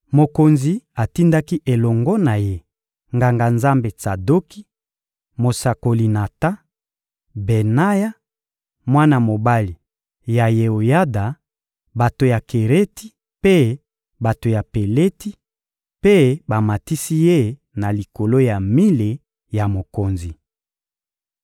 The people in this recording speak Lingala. Mokonzi atindaki elongo na ye Nganga-Nzambe Tsadoki, mosakoli Natan, Benaya, mwana mobali ya Yeoyada, bato ya Kereti mpe bato ya Peleti, mpe bamatisi ye na likolo ya mile ya mokonzi.